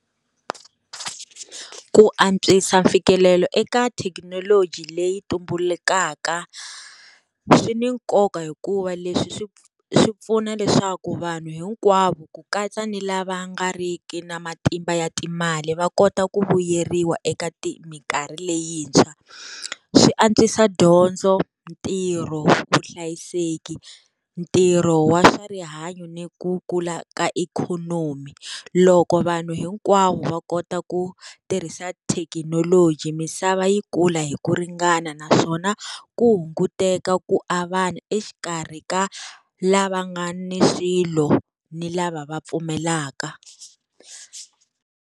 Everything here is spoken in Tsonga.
Ku antswisa mfikelelo eka thekinoloji leyi tumbulukaka, swi ni nkoka hikuva leswi swi swi pfuna leswaku vanhu hinkwavo ku katsa ni lava nga ri ki na matimba ya timali va kota ku vuyeriwa eka ti minkarhi leyintshwa. Swi antswisa dyondzo, ntirho, vuhlayiseki, ntirho wa swa rihanyo ni ku kula ka ikhonomi. Loko vanhu hinkwavo va kota ku tirhisa thekinoloji misava yi kula hi ku ringana naswona, ku hunguteka ku avana exikarhi ka lava nga ni swilo ni lava va pfumalaka.